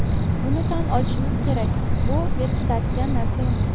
Buni tan olishimiz kerak, bu berkitadigan narsa emas.